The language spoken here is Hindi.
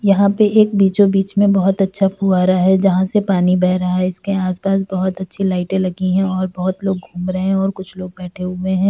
यहां पे एक बीचो बीच में बहोत अच्छा फुआरा है जहां से पानी बेह रहा है। इसके आस-पास बहोत अच्छी लाइटें लगी हैं और बहोत लोग घूम रहें हैं और कुछ लोग बैठे हुए हैं।